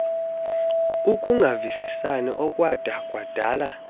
ukungavisisani okwada kwadala